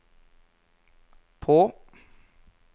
på